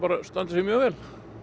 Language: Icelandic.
standi sig mjög vel